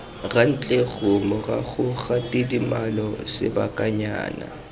rantleru morago ga tidimalo sebakanyana